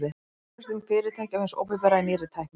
Fjárfesting fyrirtækja og hins opinbera í nýrri tækni.